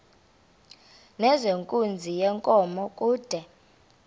nezenkunzi yenkomo kude